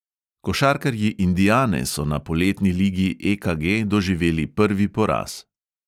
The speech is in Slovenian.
Košarkarji indiane so na poletni ligi EKG doživeli prvi poraz.